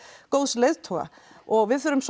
góðs leiðtoga og við þurfum